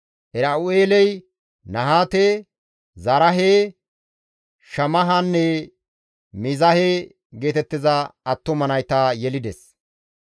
Era7u7eeley Nahaate, Zaraahe, Shammahanne Miizahe geetettiza attuma nayta yelides.